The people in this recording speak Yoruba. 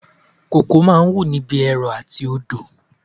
Kókò máa ń wù ní ibi ẹrọ àti etí odò